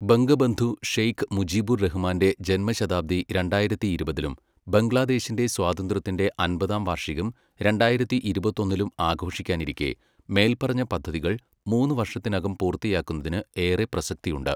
ബംഗബന്ധു ഷെയ്ഖ് മുജിബുർ റഹ്മാന്റെ ജന്മശതാബ്ദി രണ്ടായിരത്തി ഇരുപതിലും ബംഗ്ലാദേശിന്റെ സ്വാതന്ത്ര്യത്തിന്റെ അമ്പതാം വാർഷികം രണ്ടായിരത്തി ഇരുപത്തൊന്നിലും ആഘോഷിക്കാനിരിക്കേ, മേൽപറഞ്ഞ പദ്ധതികൾ മൂന്നു വർഷത്തിനകം പൂർത്തിയാക്കുന്നതിന് ഏറെ പ്രസക്തിയുണ്ട്.